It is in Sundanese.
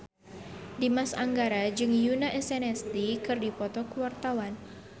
Dimas Anggara jeung Yoona SNSD keur dipoto ku wartawan